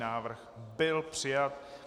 Návrh byl přijat.